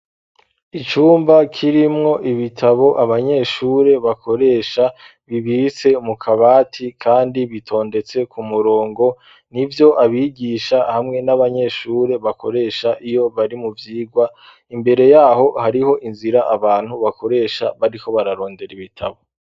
Icumba kirimwo ibitabo abanyeshure bakoresha bibise mu kabati, kandi bitondetse ku murongo ni vyo abigisha hamwe n'abanyeshure bakoresha iyo bari mu vyirwa imbere yaho hariho inzira abantu bakoresha bariho bararondera ibitabo.